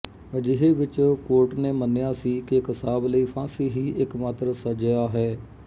ਅਜਿਹੇ ਵਿੱਚ ਕੋਰਟ ਨੇ ਮੰਨਿਆ ਸੀ ਕਿ ਕਸਾਬ ਲਈ ਫਾਂਸੀ ਹੀ ਇੱਕਮਾਤਰ ਸੱਜਿਆ ਹੈ